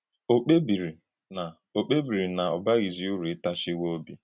Ọ̀ kpèbìrì na ọ kpèbìrì na ọ bághìzì ùrù ị́tàchìwè òbì?